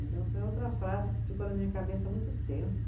Então, foi outra frase que ficou na minha cabeça muito tempo.